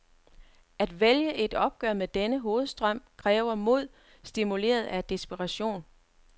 At vælge et opgør med denne hovedstrøm kræver mod, stimuleret af desperation.